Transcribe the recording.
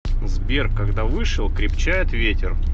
сбер когда вышел крепчает ветер